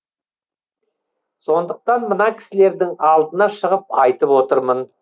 сондықтан мына кісілердің алдына шығып айтып отырмын